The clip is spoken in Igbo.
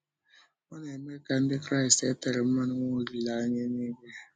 Ọ na-eme ka Ndị Kraịst e tére mmanụ nwee olileanya élúìgwé.